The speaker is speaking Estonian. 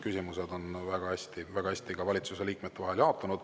Küsimused on väga hästi valitsuse liikmete vahel jaotunud.